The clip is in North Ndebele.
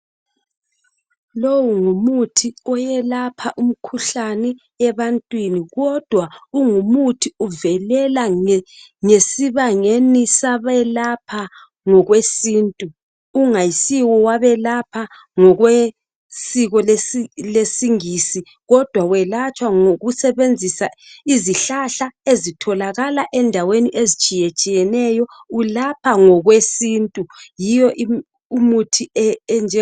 lowu ngumuthi oyelapha umkhuhlane ebantwini kodwa kungumuthi uvelela ngesibangeni sabelapha ngokwesintu kungasiyo abelapha ngokwesiko lesingisi kodwa welatshwa ngokusebenzisa izihlahla ezitholakala ezindaweni ezitshiyetshiyeneyo ulapha ngokwesintu yiwo umuthi